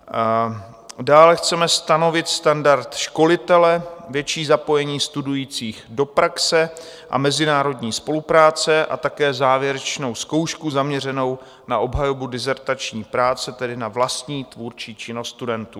Dále chceme stanovit standard školitele, větší zapojení studujících do praxe a mezinárodní spolupráce a také závěrečnou zkoušku zaměřenou na obhajobu dizertační práce, tedy na vlastní tvůrčí činnost studentů.